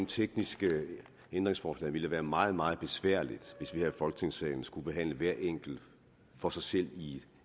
tekniske ændringsforslag så ville være meget meget besværligt hvis vi her i folketingssalen skulle behandle hvert enkelt for sig selv i